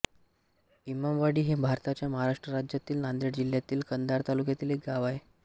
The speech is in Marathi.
इमामवाडी हे भारताच्या महाराष्ट्र राज्यातील नांदेड जिल्ह्यातील कंधार तालुक्यातील एक गाव आहे